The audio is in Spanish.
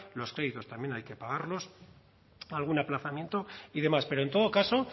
los créditos también hay que pagarlos algún aplazamiento y demás pero en todo caso